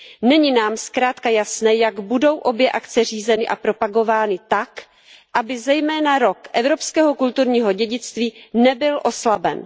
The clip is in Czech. Není nám zkrátka jasné, jak budou obě akce řízeny a propagovány tak, aby zejména rok Evropského kulturního dědictví nebyl oslaben.